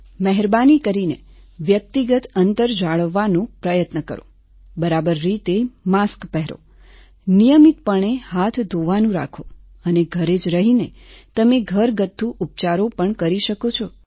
મહેરબાની કરીને વ્યક્તિગત અંતર જાળવવાનો પ્રયત્ન કરો બરાબર રીતે માસ્ક પહેરો નિયમિતપણે હાથ ધોવાનું રાખો અને ઘરે જ રહીને તમે ઘરગથ્થુ ઉપચારો પણ કરી શકો છો